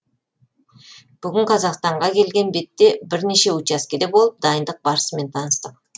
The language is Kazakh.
бүгін қазақстанға келген бетте бірнеше учаскеде болып дайындық барысымен таныстық